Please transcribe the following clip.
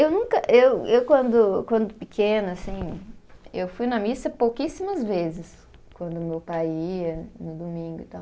Eu nunca, eu, eu quando, quando pequena, assim, eu fui na missa pouquíssimas vezes, quando meu pai ia, no domingo e tal.